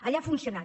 allà ha funcionat